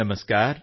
ਨਮਸਕਾਰ